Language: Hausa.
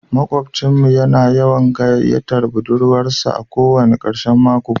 Makwabcin mu yana yawan gayyatar budurwarsa a ko wani karshen mako